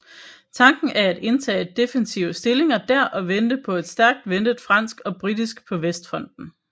Tanken af at indtage defensive stillinger der og vente på et stærkt ventet fransk og britisk på Vestfronten